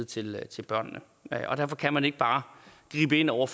til til børnene derfor kan man ikke bare gribe ind over